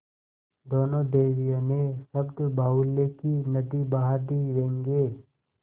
दोनों देवियों ने शब्दबाहुल्य की नदी बहा दी व्यंग्य